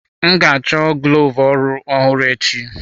M ga-achọ glovu ọrụ ọhụrụ echi.